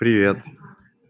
привет